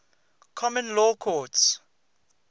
common law courts